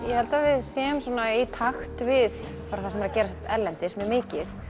ég held að við séum í takt við það sem er að gerast erlendis mjög mikið